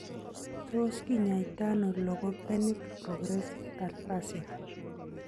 Tos kinyaita ano logopenic progressive aphasia?